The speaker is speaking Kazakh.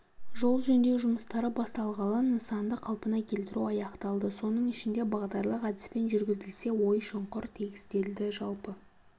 жол жөндеу жұмыстары басталғалы нысанды қалпына келтіру аяқталды соның ішінде бағдарлық әдіспен жүргізілсе ой-шұңқыр тегістелді жалпы